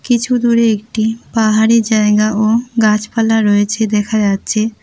কিছু দূরে একটি পাহাড়ি জায়গা ও গাছপালা রয়েছে দেখা যাচ্ছে।